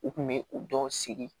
U kun bɛ u dɔ sigi